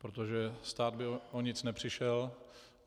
Protože stát by o nic nepřišel.